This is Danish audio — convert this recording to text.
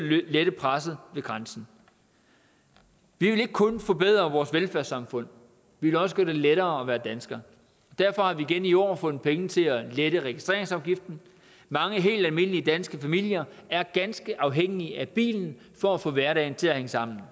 lette presset ved grænsen vi vil ikke kun forbedre vores velfærdssamfund vi vil også gøre det lettere at være dansker derfor har vi igen i år fundet penge til at lette registreringsafgiften mange helt almindelige danske familier er ganske afhængige af bilen for at få hverdagen til at hænge sammen